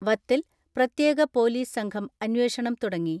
വത്തിൽ പ്രത്യേക പൊലീസ് സംഘം അന്വേഷണം തുടങ്ങി.